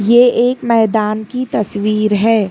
ये एक मैदान की तस्वीर है।